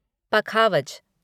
पखावज